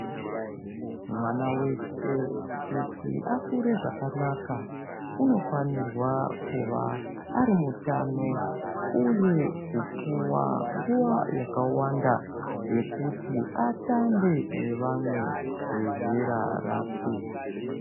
Mwana weshe kuti akure zvakanaka unofanirwa kuva arimutano uye kupuwa nguwa yakawanda yekuti atambe nevamwe vezera rake.